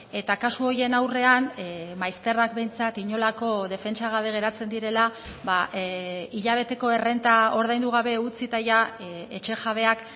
eta kasu horien aurrean maizterrak behintzat inolako defentsa gabe geratzen direla hilabeteko errenta ordaindu gabe utzita etxejabeak